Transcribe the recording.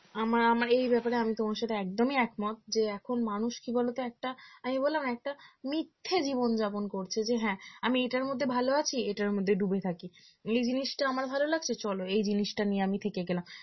আমার আমার এই ব্যাপারে আমি তোমার সাথে একদমই একমত যে এখন মানুষ কি বলতো একটা আমি বললাম একটা মিথ্যে জীবন যাপন করেছে যে হ্যাঁ আমি এটার মধ্যে ভালো আছি এটার মধ্যেই ডুবে থাকি এই জিনিসটা আমার ভালো লাগছে চল এই জিনিসটা নিয়ে আমি থেকে গেলাম